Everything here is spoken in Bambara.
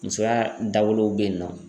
Musoya dawolow bɛ yen nɔ.